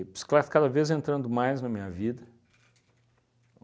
bicicleta cada vez entrando mais na minha vida.